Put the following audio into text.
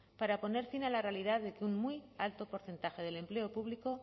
para poner fin a la realidad de que un muy alto porcentaje del empleo público